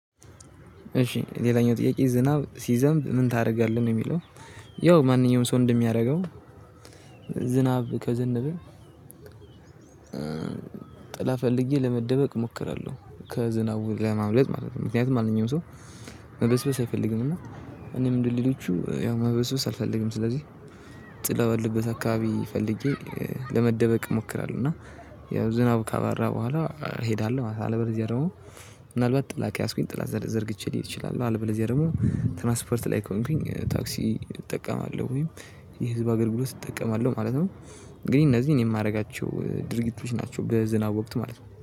እሺ ሌላኛው ጥያቄ ዝናብ ሲዘንብ ምን ታደርጋለህ ነው የሚለው? ያው ማንኛውም ሰው እንደሚያደርገው ዝናብ ከዘነበ ጥላ ፈልጌ ለመደበቅ እሞክራለሁ። ከዝናቡ ለማምለጥ ማለት ነው ምክንያቱም ማንኛው ሰው። መበስበስ አይፈልግም እና እኔም እንደ ሌሎቹ ያው መበስበስ አልፈልግም። ስለዚህ ጥላ ባለበት አካባቢ ፈልጌ ለመደበቅ እሞክራለሁ እና ያው ዝናብ ካባራ በኋላ እሄዳለሁ። አለበለዚያ ደግሞ ምናልባት ጥላ ከያዝኩኝ ጥላ ዘርግቼ ልሄድ እችላለሁ። አለበለዚያ ደግሞ ትራንስፖርት ላይ ከሆንኩኝ ታክሲ እጠቀማለሁ ወይም የህዝብ አገልግሎት እጠቀማለሁ ማለት ነው። ግን እነዚህ እኔ የማደርጋቸው ድርጊቶች ናቸው በዝናብ ወቅት ማለት ነው